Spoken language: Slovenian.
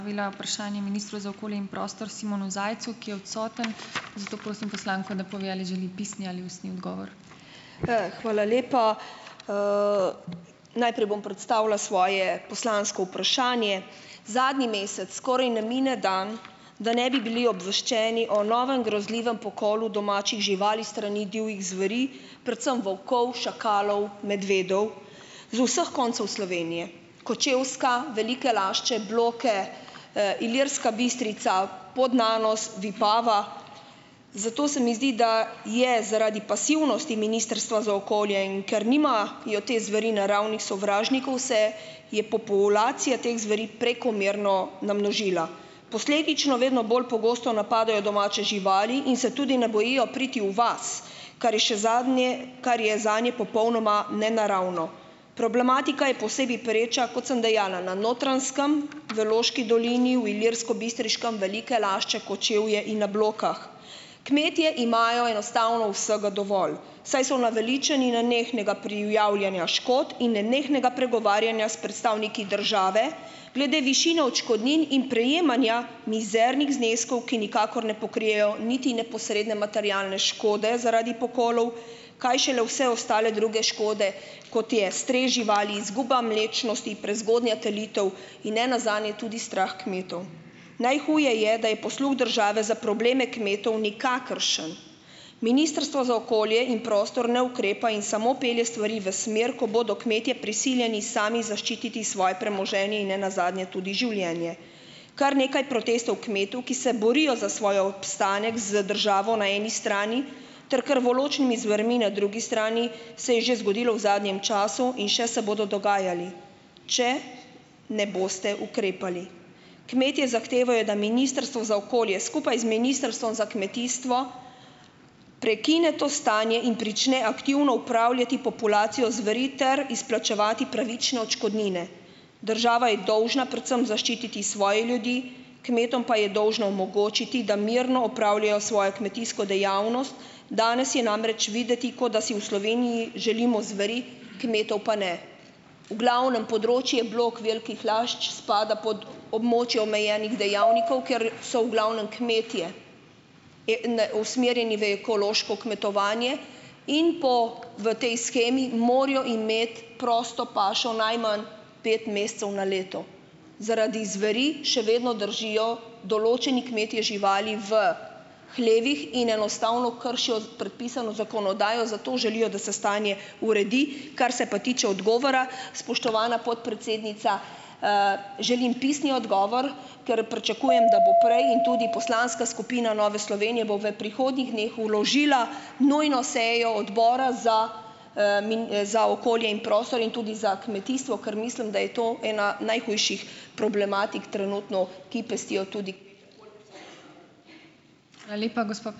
Hvala lepa. Najprej bom predstavila svoje poslansko vprašanje. Zadnji mesec skoraj ne mine dan, da ne bi bili obveščeni o novem grozljivem pokolu domačih živali s strani divjih zveri, predvsem volkov, šakalov, medvedov z vseh koncev Slovenije, Kočevska, Velike Lašče, Bloke, Ilirska Bistrica, Podnanos, Vipava. Zato se mi zdi, da je zaradi pasivnosti Ministrstva za okolje, in ker nima jo te zveri naravnih sovražnikov, se je populacija teh zveri prekomerno namnožila. Posledično vedno bolj pogosto napadajo domače živali in se tudi ne bojijo priti v vas, kar je še zadnje, kar je zanje popolnoma nenaravno. Problematika je posebej pereča, kot sem dejala, na Notranjskem, v Loški dolini, v Ilirskobistriškem, Velike Lašče, Kočevje in na Blokah. Kmetje imajo enostavno vsega dovolj, saj so naveličani nenehnega prijavljanja škod in nenehnega pregovarjanja s predstavniki države glede višine odškodnin in prejemanja mizernih zneskov, ki nikakor ne pokrijejo niti neposredne materialne škode zaradi pokolov, kaj šele vse ostale druge škode kot je stres živali, izguba mlečnosti, prezgodnja telitev in ne nazadnje tudi strah kmetov. Najhuje je, da je posluh države za probleme kmetov nikakršen. Ministrstvo za okolje in prostor ne ukrepa in samo pelje stvari v smer, ko bodo kmetje prisiljeni sami zaščititi svoje premoženje in ne nazadnje tudi življenje. Kar nekaj protestov kmetov, ki se borijo za svoj obstanek z državo na eni strani ter krvoločnimi zvermi na drugi strani, se je že zgodilo v zadnjem času in še se bodo dogajali, če ne boste ukrepali. Kmetje zahtevajo, da ministrstvo za okolje, skupaj z Ministrstvom za kmetijstvo, prekine to stanje in prične aktivno upravljati populacijo zveri ter izplačevati pravične odškodnine. Država je dolžna predvsem zaščititi svoje ljudi, kmetom pa je dolžna omogočiti, da mirno opravljajo svoje kmetijsko dejavnost. Danes je namreč videti, kot da si v Sloveniji želimo zveri, kmetov pa ne. V glavnem področje Blok, Velikih Lašč spada pod območje omejenih dejavnikov, kjer so v glavnem kmetje usmerjeni v ekološko kmetovanje in po v tej shemi, morajo imeti prosto pašo najmanj pet mesecev na leto. Zaradi zveri še vedno držijo določeni kmetje živali v hlevih in enostavno kršijo predpisano zakonodajo, zato želijo, da se stanje uredi. Kar se pa tiče odgovora, spoštovana podpredsednica, želim pisni odgovor, ker priča kujem, da bo prej in tudi poslanska skupina Nove Slovenije bo v prihodnjih dneh vložila nujno sejo Odbora za, za okolje in prostor in tudi za kmetijstvo, ker mislim, da je to ena najhujših problematik trenutno, ki pestijo tudi ...